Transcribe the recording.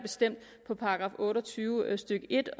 på § otte og tyve stykke en